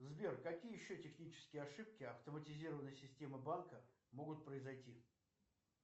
сбер какие еще технические ошибки автоматизированной системы банка могут произойти